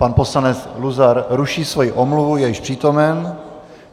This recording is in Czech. Pan poslanec Luzar ruší svoji omluvu, je již přítomen.